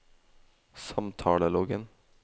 samtaleloggen